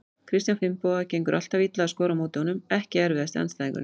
Kristján Finnboga, gengur alltaf illa að skora á móti honum Ekki erfiðasti andstæðingur?